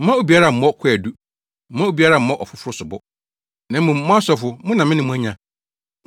“Mma obiara mmɔ kwaadu, mma obiara mmɔ ɔfoforo sobo. Na mmom, mo asɔfo mo na me ne mo anya.